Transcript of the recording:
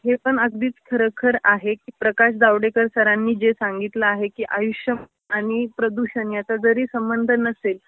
हे पण अगदीच खर खर आहे की प्रकाश जावडेकर सरांनी जे सांगितल आहे की आयुष्य आणि प्रदूषण याचा जरी संबंध नसेल